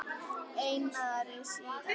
Einari, síðan sér.